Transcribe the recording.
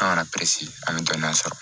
An kana an bɛ dɔnniya sɔrɔ